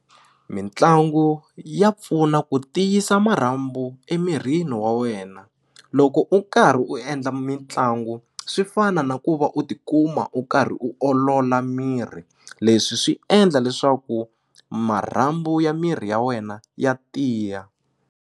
Mitlangu ya pfuna ku tiyisa marhambu emirhini wa wena loko u karhi u endla mitlangu swi fana na ku va u tikuma u karhi u olola miri leswi swi endla leswaku marhambu ya miri ya wena ya tiya.